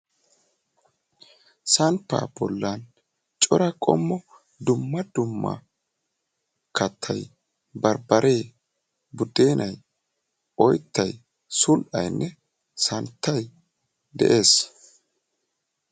samppaa bolla cora qommo dumma dumma katta barbbare, budennay, oyttay, sull"ayinne santtay de'ees